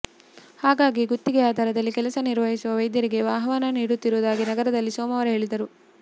ಹಾಗಾಗಿ ಗುತ್ತಿಗೆ ಆಧಾರದಲ್ಲಿ ಕೆಲಸ ನಿರ್ವಹಿಸುವ ವೈದ್ಯರಿಗೆ ಆಹ್ವಾನ ನೀಡುತ್ತಿರುವುದಾಗಿ ನಗರದಲ್ಲಿ ಸೋಮವಾರ ಹೇಳಿದರು